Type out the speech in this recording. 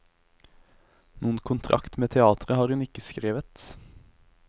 Noen kontrakt med teatret har hun ikke skrevet.